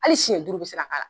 Hali siɲɛ duuru bɛ se ka k'a la.